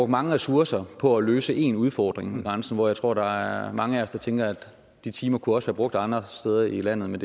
mange ressourcer på at løse én udfordring ved grænsen hvor jeg tror der er mange af os der tænker at de timer også brugt andre steder i landet men